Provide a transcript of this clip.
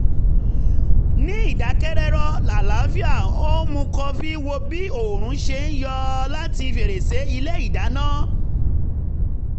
ní ìdákẹ́rọ́rọ́ alálàáfíà ó ń mu kọfí wo bí oòrùn ṣe ń yọ láti fèrèsé ilé ìdáná